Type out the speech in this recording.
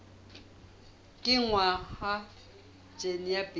kenngwa ha jine ya bt